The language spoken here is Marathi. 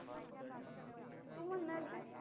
तू म्हणणार तेचं.